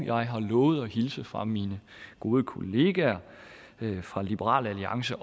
jeg har lovet at hilse fra mine gode kollegaer fra liberal alliance